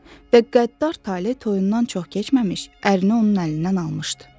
Və qəddar taley toyundan çox keçməmiş, ərini onun əlindən almışdı.